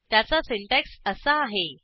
त्याचा सिंटॅक्स असा आहे